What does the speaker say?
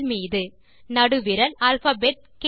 மீது நடுவிரல் அல்பாபெட் க்